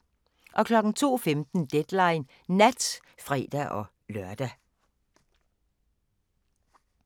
02:15: Deadline Nat (fre-lør)